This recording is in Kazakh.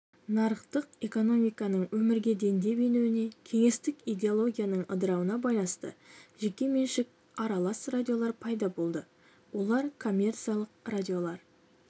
нарықтық экономиканың өмірге дендеп енуіне кеңестік идеологияның ыдырауына байланысты жеке меншік аралас радиолар пайда болды олар коммерциялық радиолар